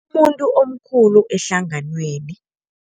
Umuntu omkhulu ehlanganweni.